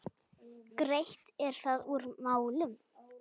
Greitt er þar úr málum.